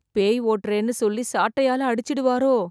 பேய் ஓட்டறேன்னு சொல்லி சாட்டையால அடிச்சிடுவாரோ...